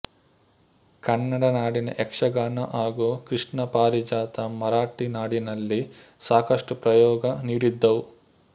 ಕನ್ನಡ ನಾಡಿನ ಯಕ್ಷಗಾನ ಹಾಗೂ ಕೃಷ್ಣ ಪಾರಿಜಾತ ಮರಾಠಿ ನಾಡಿನಲ್ಲಿ ಸಾಕಷ್ಟು ಪ್ರಯೋಗ ನೀಡಿದ್ದವು